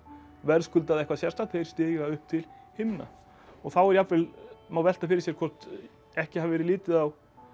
verðskuldað eitthvað sérstakt þeir stíga upp til himna og þá jafnvel má velta fyrir sér hvort ekki hafi verið litið á